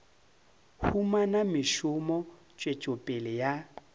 humana mešomo tswetšo pele ya